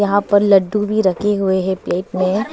यहां पर लड्डू भी रखे हुए हैं प्लेट में--